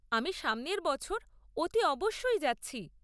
আমি সামনের বছর অতি অবশ্যই যাচ্ছি।